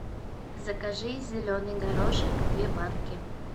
закажи зеленый горошек две банки